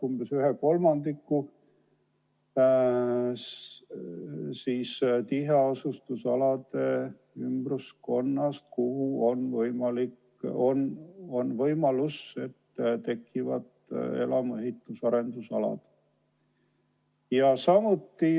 Umbes 1/3 tiheasustusalade ümbruskonnast on seega maad, kuhu ehk tekivad elamuehituse arendusalad.